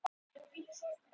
Auðir og ógildir voru þrír.